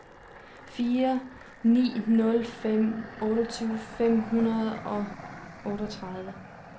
fire ni nul fem otteogtyve fem hundrede og otteogtredive